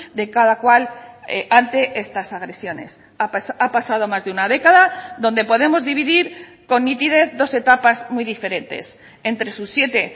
de cada cual ante estas agresiones ha pasado más de una década donde podemos dividir con nitidez dos etapas muy diferentes entre sus siete